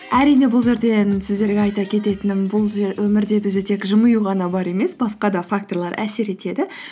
әрине бұл жерден сіздерге айта кететінім бұл өмірде бізде тек жымию ғана бар емес басқа да факторлар әсер етеді